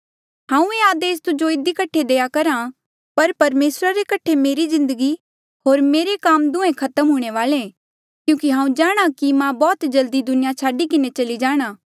हांऊँ ये आदेस तुजो इधी कठे देईं करहा पर परमेसरा रे कठे मेरी जिन्दगी होर मेरा काम दुहें खत्म हूंणे वाले क्यूंकि हांऊँ जाणहां कि मां बौह्त जल्दी दुनिया छाडी किन्हें चली जाणा